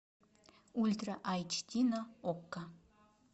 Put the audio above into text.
ультра айч ди на окко